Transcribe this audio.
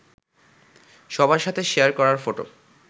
সবার সাথে শেয়ার করার ফটো